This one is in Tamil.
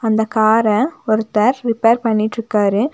அந்த கார ஒருத்தர் ரிப்பேர் பண்ணிட்ருக்காரு.